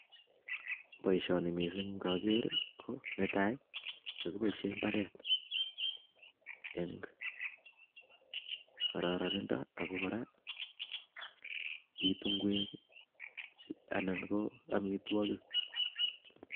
Boisoni Mising ngaker ko netai kakiboisei ibaret eng kararaitok ak ko kora bitu ingwek anan ko amitwokik